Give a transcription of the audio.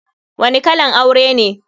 Wani kalan aure ne?